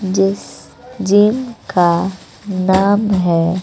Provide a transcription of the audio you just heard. जिस जिनका नाम है।